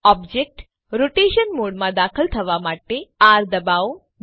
object rotation મોડમાં દાખલ થવા માટે આર દબાવો